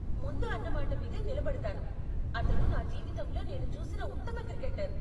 ముందు అన్న మాట మీదే నిలబడతాను, అతను నా జీవితంలో నేను చూసిన ఉత్తమ క్రికెటర్.